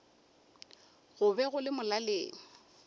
go be go le molaleng